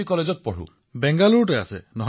প্ৰধানমন্ত্ৰীঃ আচ্ছা বেংগালুৰুতেই আছে